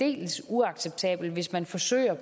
aldeles uacceptabelt hvis man forsøger